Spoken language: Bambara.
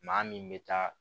Maa min bɛ taa